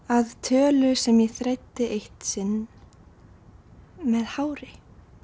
að tölu sem ég þræddi eitt sinn með hári